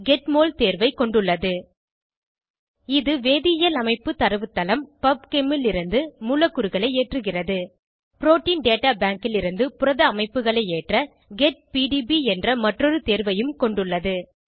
get mol தேர்வைக் கொண்டுள்ளது இது வேதியியல் அமைப்பு தரவுத்தளம் பப்செம் லிருந்து மூலக்கூறுகளை ஏற்றுகிறது புரோட்டீன் டேட்டா பேங்க் லிருந்து புரத அமைப்புகளை ஏற்ற கெட் பிடிபி என்ற மற்றொரு தேர்வையும் கொண்டுள்ளது